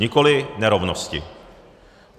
Nikoli nerovnosti.